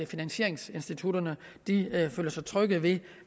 finansieringsinstitutter føler sig trygge ved